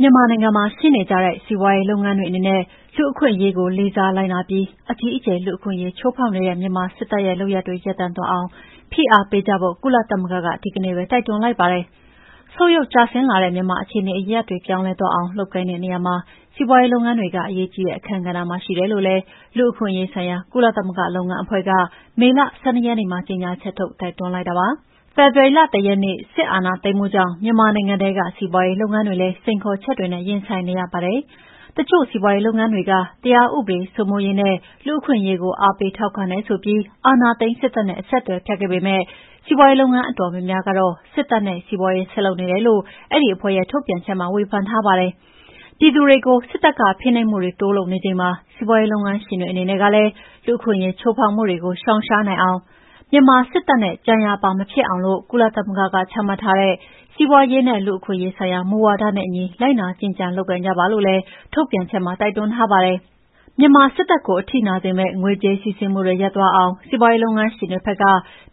မြန်မာနိုင်ငံမှာ ရှိနေကြတဲ့ စီးပွါးရေးလုပ်ငန်းတွေအနေနဲ့ လူ့အခွင့်အရေးကို လေးစားလိုက်နာပြီး အကြီးအကျယ် လူ့အခွင့်အရေး ချိုးဖောက်နေတဲ့ မြန်မာစစ်တပ်ရဲ့ လုပ်ရပ်တွေ ရပ်တန့်သွားအောင်ဖိအားပေးကြဖို့ ကုလသမဂ္ဂက ဒီကနေ့ပဲ တိုက်တွန်းလိုက်ပါတယ်။ ဆုတ်ယုတ်ကျဆင်းလာတဲ့ မြန်မာ့အခြေအနေအရပ်ရပ်တွေ ပြောင်းလဲသွားအောင်လုပ်ကိုင်တဲ့ နေရာမှာ စီးပါွးရေးလုပ်ငန်းတွေက အရေးကြီးတဲ့ အခန်းကဏ္ဍမှာ ရှိတယ်လို့လည်း လူ့အခွင့်ရေးဆိုင်ရာ ကုလသမဂ္ဂလုပ်ငန်းအဖွဲ့က မေလ ၁၂ ရက်နေ့မှာ ကြေငြာချက်ထုတ် တိုက်တွန်းလိုက်တာဖြစ်ပါတယ်။ ဖေဖော်ဝါရီလ ၁ ရက်နေ့ စစ်အာဏာသိမ်းမှုကြောင့် မြန်မာနိုင်ငံထဲက စီးပါွးရေးလုပ်ငန်းတွေလည်း စိန်ခေါ်ချက်တွေနဲ့ ရင်ဆိုင်နေရပါတယ်။ တချို့စီးပါွးရေးလုပ်ငန်းတွေက တရားဥပဒေစိုးမိုးရေးနဲ့ လူ့အခွင့်အရေးကို အားပေးထောက်ခံတယ်ဆိုပြီး အာဏာသိမ်းစစ်တပ်နဲ့ အဆက်အသွယ်ဖြတ်ခဲ့ပေမဲ့ စီးပွားရေးလုပ်ငန်းအတော်များများကတော့ စစ်တပ်နဲ့ စီးပါွးရေးဆက်လုပ်နေတယ်လို့ အဲဒီအဖွဲ့ရဲ့ ထုတ်ပြန်ချက်မှာ ဝေဖန်ထားပါတယ်။ ပြည်သူတွေကို စစ်တပ်က ဖိနှိပ်မှုတွေ တိုးလုပ်နေချိန်မှာ စီးပါွးရေးလုပ်ငန်းရှင်တွေအနေနဲ့ကလည်း လူ့အခွင့်အရေး ချိုးဖောက်မှုတွေကို ရှောင်ရှားနိုင်အောင် မြန်မာစစ်တပ်နဲ့ ကြံရာပါဖြစ်အောင် ကုလသမဂ္ဂက ချမှတ်ထားတဲ့ "စီးပါွးရေးနဲ့ လူ့အခွင့်အရေးဆိုင်ရာ မူဝါဒ" နဲ့အညီ လိုက်နာကျင့်ကြံလုပ်ကိုင်ကြပါလို့လည်း ထုတ်ပြန်ချက်မှာ တိုက်တွန်းထားပါတယ်။ မြန်မာစစ်တပ်ကို အထိနာစေမယ့် ငွေကြေးစီးဆင်းမှု ရပ်သွားအောင် စီးပါွးရေးုလုပ်ငန်းရှင်တွေဘက်က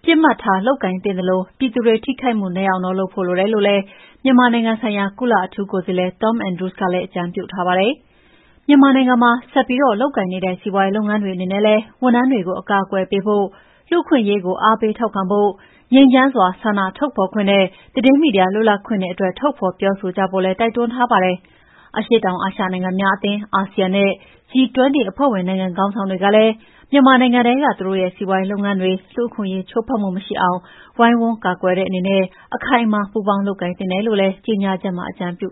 ပစ်မှတ်ထားလုပ်ကိုင်သင့်သလို ပြည်သူတွေ ထိခိုက်မှုနည်းအောင်လုပ်ဖို့ လိုတော့တယ်လို့လည်း မြန်မာနိုင်ငံဆိုင်ရာ ကုလအထူးကိုယ်စားလှယ် Tom Andrews ကလည်း အကြံပြုထားပါတယ်။ မြန်မာနိုင်ငံမှာ ဆက်ပြီး လုပ်ကိုင်နေတဲ့ စီးပါွးရေးလုပ်ငန်းတွေအနေနဲ့လည်း ဝန်ထမ်းတွေကို အကာအကွယ်ပေးဖို့ လူ့အခွင့်အရေးကို အားပေးထောက်ခံဖု့ိ ငြိမ်းချမ်းစွာဆန္ဒထုတ်ဖော်ခွင့်နဲ့ သတင်းမီဒီယာလွတ်လပ်ခွင့်အတွက် ထုတ်ဖော် ပြောဆိုကြဖို့လည်း တိုက်တွန်းထားပါတယ်။ အရှေ့တောင်အာရှနိုင်ငံများအသင်း (ASEAN) နဲ့ G20 အဖွဲ့ဝင်နိုင်ငံခေါင်းဆောင်တွေကလည်း မြန်မာနိုင်ငံထဲက သူတို့ရဲ့စီးပါွးရေးလုပ်ငန်းတွေ လူ့အခွင့်အရေးချိုးဖောက်မှု မရှိအောင် ဝိုင်းဝန်းကာကွယ်တဲ့အနေနဲ့ အခိုင်အမာ ပူးပေါင်းလုပ်ကိုင်သင့်တယ်လို့ ကြေငြာချက်မှာ အကြံပြု